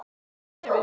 Sama nefið.